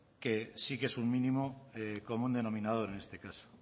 que sí que es un mínimo común denominador en este caso